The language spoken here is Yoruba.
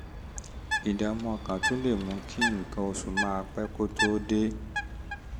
ìdààmú ọkàn tún lè mú kí nǹkan oṣù máa pẹ́ kó tó dé